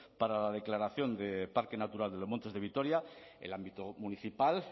para la declaración de parque natural los montes de vitoria el ámbito municipal